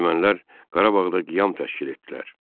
Ermənilər Qarabağda qiyam təşkil etdilər.